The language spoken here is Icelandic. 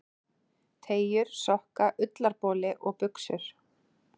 Teygjur, sokka, ullarboli og buxur.